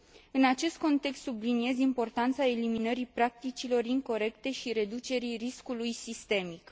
În acest context, subliniez importanța eliminării practicilor incorecte și reducerii riscului sistemic.